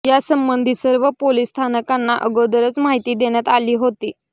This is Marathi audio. यासंबंधी सर्व पोलीस स्थानकांना अगोदरच माहिती देण्यात आली होती